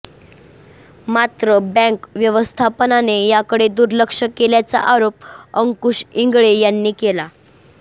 मात्र बँक व्यवस्थापनाने याकडे दुर्लक्ष केल्याचा आरोप अंकुश इंगळे यांनी केला